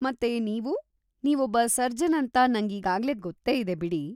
ಮತ್ತೆ ನೀವು? ನೀವೊಬ್ಬ ಸರ್ಜನ್‌ ಅಂತ ನಂಗೀಗಾಗ್ಲೇ ಗೊತ್ತೇ ಇದೆ ಬಿಡಿ.